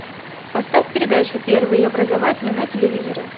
поставь передачу первый образовательный на телевизоре